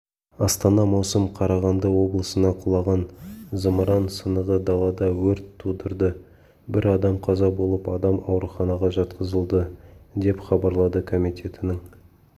астана маусым қарағанды облысына құлаған зымыран сынығы далада өрт тудырды бір адам қаза болып адам ауруханаға жатқызылды деп хабарлады комитетінің